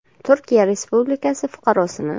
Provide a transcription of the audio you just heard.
Turkiya respublikasi fuqarosini.